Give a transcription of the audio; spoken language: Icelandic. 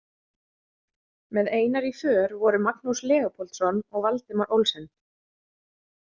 Með Einari í för voru Magnús Leópoldsson og Valdimar Olsen.